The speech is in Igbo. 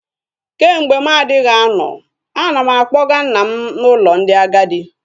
Kemgbe mụ anaghị anọ, ana m akpọga nna m n'ụlọ ndị agadi